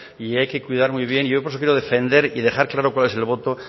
y hay que cuidar muy bien yo por eso quiero defender y dejar claro cuál es el voto